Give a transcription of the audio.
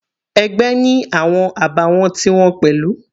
Ẹgbẹ́ ni awọn àbàwọ́n ti wọn pẹ̀lú.